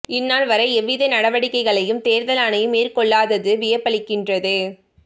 இந்நாள் வரை எவ்வித நடவடிக்கைகளையும் தேர்தல் ஆணையம் மேற்கொள்ளாதது வியப்பளிக்கின்றது